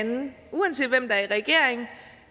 hinanden uanset hvem der er i regering